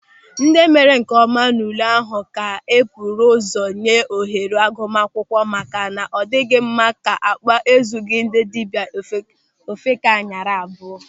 Ndị mere nkeọma n'ule ahụ ka e buru ụzọ nye ohere agụmaakwụkwọ maka na ọ dịghị mma na akpa ezughị ndị dibịa, ofeke anyara abụọ.